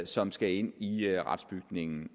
som skal ind i retsbygningen